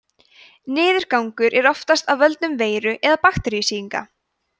niðurgangur er oftast af völdum veiru eða bakteríusýkinga